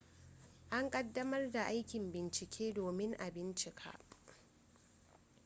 an ƙaddamar da aikin bincike domin a bincika